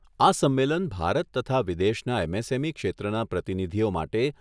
આ સંમેલન ભારત તથા વિદેશના એમએસએમઈ ક્ષેત્રના પ્રતિનિધિઓ માટે